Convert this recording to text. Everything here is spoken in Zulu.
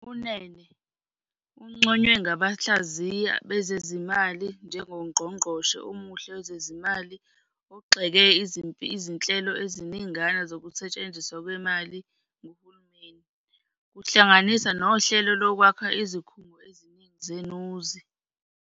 UNene unconywe ngabahlaziyi bezezimali njengongqongqoshe omuhle wezezimali ogxeke izinhlelo eziningana zokusetshenziswa kwemali nguhulumeni, kuhlanganisa nohlelo lokwakha izikhungo eziningi zenuzi.